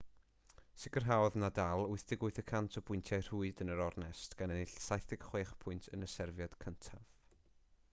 sicrhaodd nadal 88% o bwyntiau rhwyd yn yr ornest gan ennill 76 pwynt yn y serfiad cyntaf